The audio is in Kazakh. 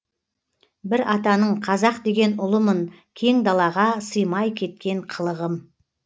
бір атаның қазақ деген ұлымын кең далаға сыймай кеткен қылығым